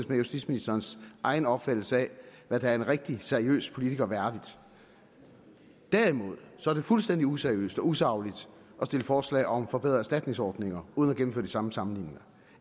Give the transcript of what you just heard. med justitsministerens egen opfattelse af hvad der er en rigtig seriøs politiker værdigt derimod er det fuldstændig useriøst og usagligt at stille forslag om at forbedre erstatningsordningerne uden at gennemføre de samme sammenligninger